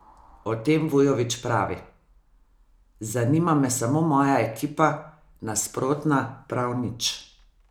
O tem Vujović pravi: "Zanima me samo moja ekipa, nasprotna prav nič.